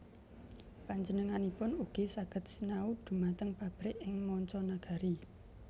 Panjenenganipun ugi saged sinau dhumateng pabrik ing manca nagari